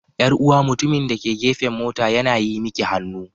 Yar'uwa mutumin da ke gefen mota yana yi miki hannu.